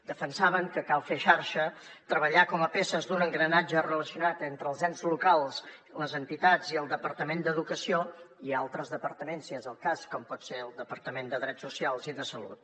defensaven que cal fer xarxa treballar com a peces d’un engranatge relacionat entre els ens locals les entitats i el departament d’educació i altres departaments si és el cas com pot ser el departament de drets socials i de salut